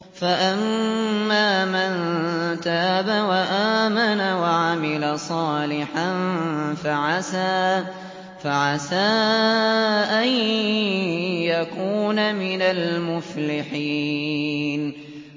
فَأَمَّا مَن تَابَ وَآمَنَ وَعَمِلَ صَالِحًا فَعَسَىٰ أَن يَكُونَ مِنَ الْمُفْلِحِينَ